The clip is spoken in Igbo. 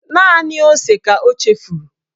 Naanị ose ka o chefuru